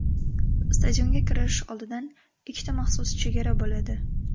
Stadionga kirish oldidan ikkita maxsus chegara bo‘ladi.